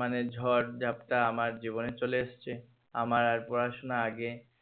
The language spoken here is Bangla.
মানে ঝড় ঝাপ্টা আমার জীবেন চলে এসেছে আমার আর পড়াশোনা আগে